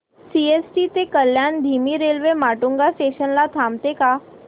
CST ते कल्याण धीमी railway Matunga station ला थांबते का